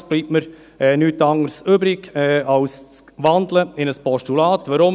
Es bleibt mir nichts anderes übrig als in ein Postulat zu wandeln.